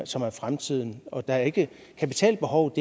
som er fremtiden og det er ikke kapitalbehovet